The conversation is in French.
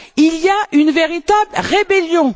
Il y a une véritable rébellion.